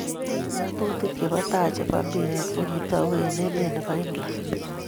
Ngatutik che bo tai che bo mpiree ko kitou eng emet ne bo England.